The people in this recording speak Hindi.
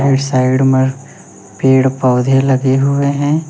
साइड में पेड़ पौधे लगे हुए हैं।